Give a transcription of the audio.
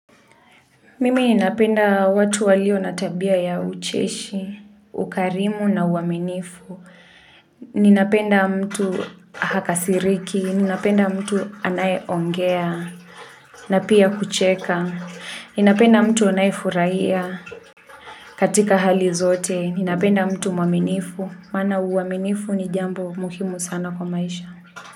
Mimi napenda watu walio natabia ya ucheshi, ukarimu na uaminifu. Ninapenda mtu hakasiriki, ninapenda mtu anayeongea, na pia kucheka. Ninapenda mtu anayefurahia katika hali zote. Ninapenda mtu mwaminifu, maana uaminifu ni jambo muhimu sana kwa maisha.